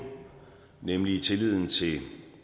nemlig tilliden til de